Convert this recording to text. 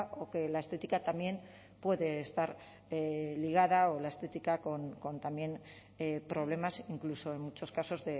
o que la estética también puede estar ligada o la estética con también problemas incluso en muchos casos